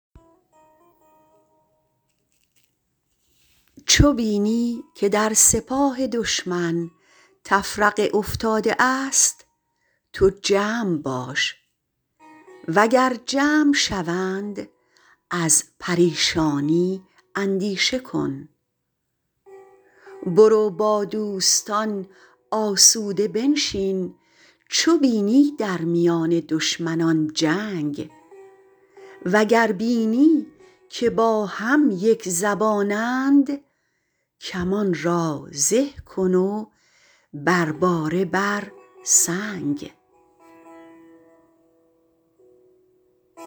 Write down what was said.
چو بینی که در سپاه دشمن تفرقه افتاده است تو جمع باش و گر جمع شوند از پریشانی اندیشه کن برو با دوستان آسوده بنشین چو بینی در میان دشمنان جنگ وگر بینی که با هم یکزبانند کمان را زه کن و بر باره بر سنگ